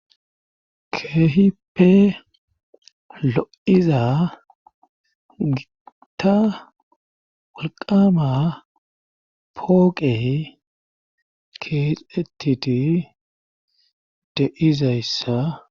Keehipe lo7iza gita walqama pooqe keexetiti de izayssa.